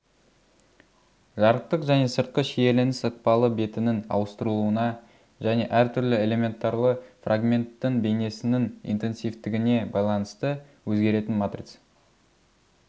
жарықтық және сыртқы шиеленіс ықпалы бетінің ауыстырылуына және әр түрлі элементарлы фрагменттің бейнесінің интенсивтігіне байланысты өзгеретін матрица